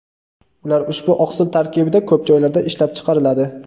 Ular ushbu oqsil tarkibida ko‘p joylarda ishlab chiqariladi.